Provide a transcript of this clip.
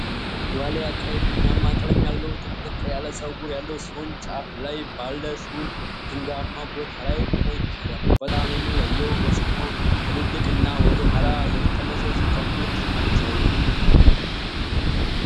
ልያው ቀይ ቡናማ ቀለም ያለው፣ ጥቅጥቅ ያለ ፀጉር ያለው ሲሆን ጫፉ ላይ ባለ ሹል ድንጋያማ ቦታ ላይ ቆሞ ይታያል። በጣም የሚለየው ገጽታው ትልልቅና ወደ ኋላ የተጠመዘዙ ቀንዶቹ ናቸው።